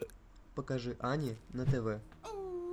покажи ани на тв